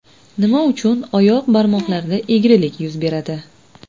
Nima uchun oyoq barmoqlarida egrilik yuz beradi?